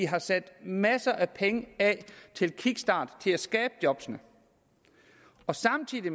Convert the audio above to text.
har sat masser af penge af til en kickstart til at skabe jobbene samtidig